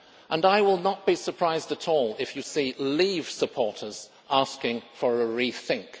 And I will not be surprised at all if you see Leave supporters asking for a rethink.